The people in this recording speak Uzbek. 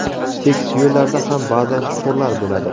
Tekis yo‘llarda ham ba’zan chuqurlar bo‘ladi.